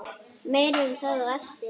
Meira um það á eftir.